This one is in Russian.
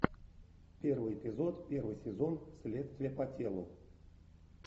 первый эпизод первый сезон следствие по телу